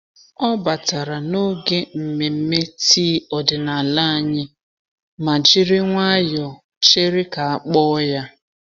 Ọ batara n'oge nmenme tii ọdịnala anyị ma jiri nwayọọ chere ka a kpọọ ya.